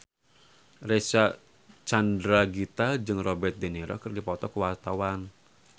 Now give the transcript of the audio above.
Reysa Chandragitta jeung Robert de Niro keur dipoto ku wartawan